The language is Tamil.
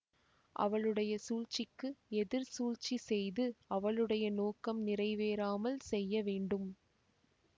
அவளுடைய சூழ்ச்சிக்கு எதிர் சூழ்ச்சி செய்து அவளுடைய நோக்கம் நிறைவேறாமல் செய்ய வேண்டும்